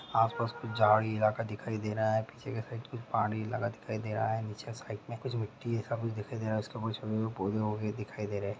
आसपास कुछ झाड़ी इलाका दिखाई दे रहा है पीछे की साइड कुछ पहाड़ी इलाका दिखाई दे रहा है निचे साइक में कुछ मिटटी है ऐसा कुछ दिखाई दे रहा है उसके ऊपर छोड़े हुए पौधे वोधे दिखाई दे रहा है।